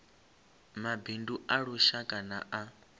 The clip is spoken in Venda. mabindu a lushaka na a